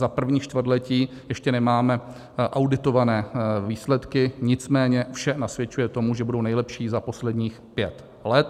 Za první čtvrtletí ještě nemáme auditované výsledky, nicméně vše nasvědčuje tomu, že budou nejlepší za posledních pět let.